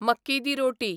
मक्की दी रोटी